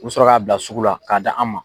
U bi sɔrɔ k'a bila sugu la, k'a di an ma